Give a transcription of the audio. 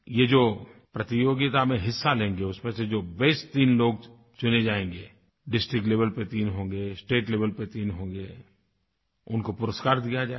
ये जो प्रतियोगिता में हिस्सा लेंगे उसमें से जो बेस्ट तीन लोग चुने जायेंगे डिस्ट्रिक्ट लेवेल पर तीन होंगे स्टेट लेवेल पर तीन होंगे उनको पुरस्कार दिया जाएगा